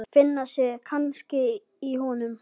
Finna sig kannski í honum.